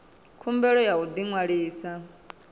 khumbelo ya u ḓi ṅwalisa